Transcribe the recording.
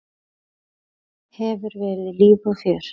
Hefur verið líf og fjör.